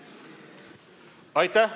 Aitäh!